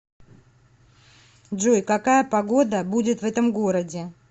джой какая погода будет в этом городе